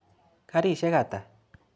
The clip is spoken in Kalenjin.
Karisyek ata?